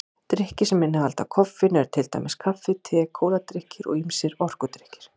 Drykkir sem innihalda koffein eru til dæmis kaffi, te, kóladrykkir og ýmsir orkudrykkir.